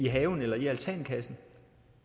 have eller i altankassen